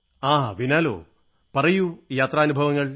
ങാ വിനോൽ പറയൂ യാത്രാനുഭവങ്ങൾ